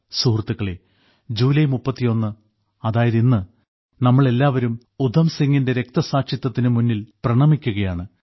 സുഹൃത്തുക്കളേ ജൂലൈ 31 അതായത് ഇന്ന് നമ്മൾ എല്ലാവരും ഉധം സിങ്ങിന്റെ രക്തസാക്ഷിത്വത്തിനു മുന്നിൽ പ്രണമിക്കുകയാണ്